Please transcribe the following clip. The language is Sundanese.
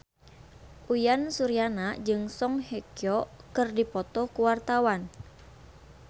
Uyan Suryana jeung Song Hye Kyo keur dipoto ku wartawan